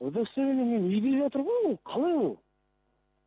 удостоверение менің үйде жатыр ғой ол қалай ол